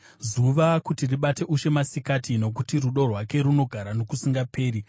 zuva kuti ribate ushe masikati, Nokuti rudo rwake runogara nokusingaperi.